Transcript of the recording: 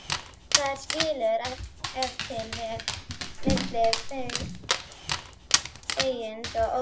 Þar skilur ef til vill milli feigs og ófeigs.